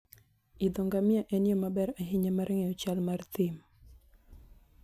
Idho ngamia en yo maber ahinya mar ng'eyo chal mar thim.